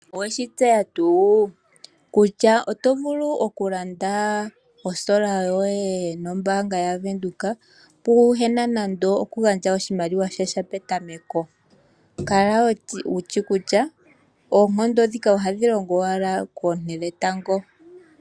Owe shi tseya tuu kutya oto vulu okulanda osola yoye nombaanga yaVenduka, pwaa na okugandja oshimaliwa sha sha petameko. Kala wu shi kutya oonkondo ndhika ohadhi longo owala koonte dhetango.